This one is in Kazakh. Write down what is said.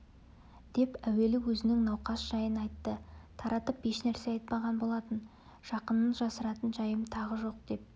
деп әуелі өзінің науқас жайын айтты таратып ешнәрсе айтпаған болатын жақыннан жасыратын жайым тағы жоқ деп